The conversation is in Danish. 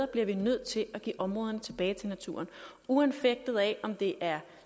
bliver vi nødt til at give områderne tilbage til naturen uanfægtet af om det er